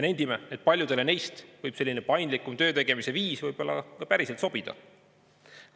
Nendime, et paljudele neist võib selline paindlikum töötegemise viis päriselt sobida.